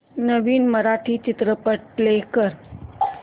नवीन मराठी चित्रपट प्ले कर